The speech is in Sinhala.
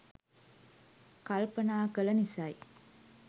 කල්පනා කළ නිසයි.